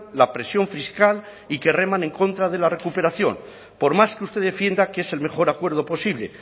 la presión fiscal y que reman en contra de la recuperación por más que usted defienda que es el mejor acuerdo posible